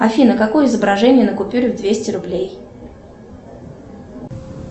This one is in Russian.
афина какое изображение на купюре в двести рублей